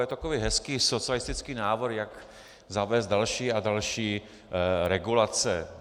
Je to takový hezký socialistický návrh, jak zavést další a další regulace.